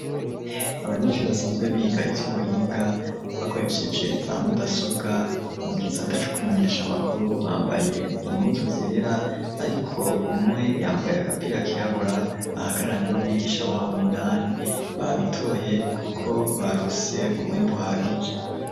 Abanyeshuri basanzwe biga ity'ubuhinga bakoresheje za mudasobwa mu kisata c'ukumenyesha makuru bambaye impuzu zera ariko umwe yambaye agapira kirabura ahagararanye n'umwigisha wabo Minani babitoye kuko barose umwImbu uhagije.